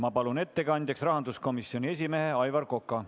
Ma palun ettekandjaks rahanduskomisjoni esimehe Aivar Koka.